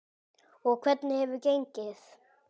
Og hvernig hefur gengið?